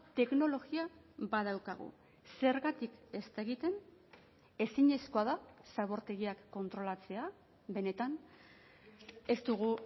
teknologia badaukagu zergatik ez da egiten ezinezkoa da zabortegiak kontrolatzea benetan ez dugu